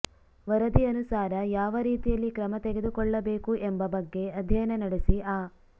ವರದಿ ಅನುಸಾರ ಯಾವ ರೀತಿಯಲ್ಲಿ ಕ್ರಮ ತೆಗೆದುಕೊಳ್ಳಬೇಕು ಎಂಬ ಬಗ್ಗೆ ಅಧ್ಯಯನ ನಡೆಸಿ ಆ